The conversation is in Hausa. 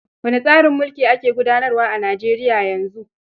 Wane tsarin mulki ake gudanarwa a Nijeriya yanzu?